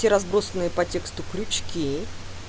все разбросанные по тексту крючки